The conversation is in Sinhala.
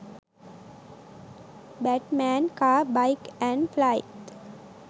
batman car, bike and flight